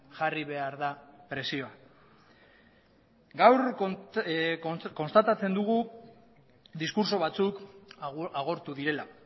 jarri behar da presioa gaur konstatatzen dugu diskurtso batzuk agortu direla